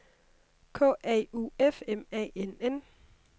K A U F M A N N